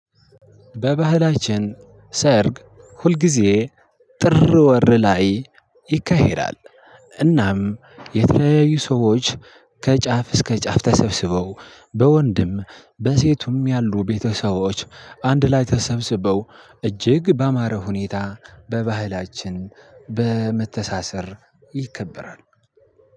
በባህላችን ሰርግ ሁልጊዜ ጥር ወር ላይ ይካሄዳል። እናም የተለያዩ ሰዎች ከጫፍ እስከ ጫፍ ተሰብስበው በወንድም በሴቱም ያሉ ቤተሰቦች አንድ ላይ ተሰብስበው እጅግ ባማረ ሁኔታ በባህላችን በመተሳሰር ይከበራል።